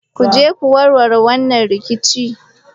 Ku je ku warware wannan rikici!